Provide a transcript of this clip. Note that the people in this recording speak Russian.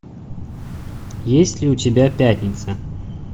есть ли у тебя пятница